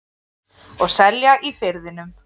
Og selja í Firðinum.